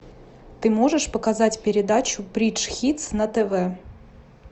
ты можешь показать передачу бридж хитс на тв